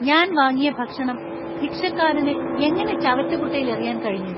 ഞാൻ വാങ്ങിയ ഭക്ഷണം ഭിക്ഷക്കാരന് എങ്ങനെ ചവറ്റുകുട്ടയില്‍ എറിയാന്‍ കഴിഞ്ഞു ?